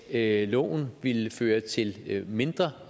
at loven ville føre til mindre